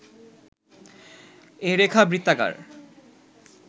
এ রেখা বৃত্তাকার